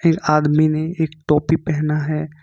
आदमी ने एक टोपी पहना है।